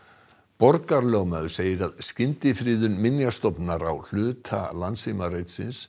borgarlögmaður segir að skyndifriðun Minjastofnunar á hluta